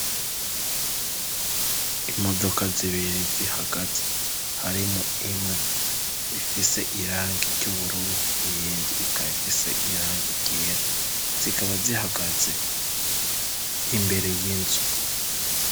Imodoka zibere zihagaze harimwo imwe ifise irangi ry'ubururu iyendi ikaba ifise irange ryera zikaba zihagaze imbere y'inzu.